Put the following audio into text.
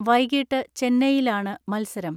വൈകിട്ട് ചെന്നൈയിലാണ് മൽസരം.